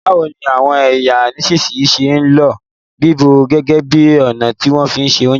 Báwoni àwon èyàn nisínsìnyi se n lo bíbọ̀ gẹ́gẹ́ bi ọ̀nà ti fi n se ounjẹ